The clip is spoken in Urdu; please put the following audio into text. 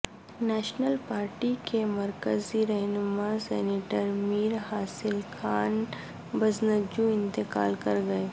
نیشنل پارٹی کے مرکزی رہنما سینیٹر میر حاصل خان بزنجو انتقال کر گئے